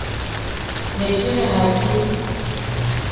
ne ke re ha ke